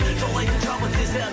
жаулайды шабыт сезім